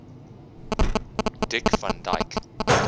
dick van dyke